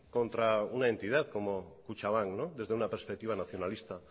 contra una entidad como kutxabank desde una perspectiva nacionalista